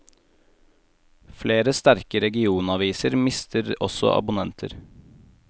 Flere sterke regionaviser mister også abonnenter.